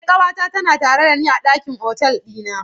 Eh ƙanwata tana tare dani a ɗakin hotel ɗina.